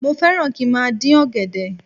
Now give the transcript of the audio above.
Mo fẹ́ràn kí n má a dín ọ̀gẹ̀dẹ̀